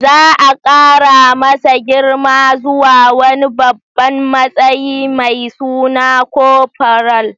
Za a kara masa girma zuwa wani babban matsayi mai suna corporal.